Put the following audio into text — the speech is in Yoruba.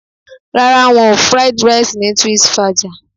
Rárá, wọn ò Fried Rice ni Twinsfaja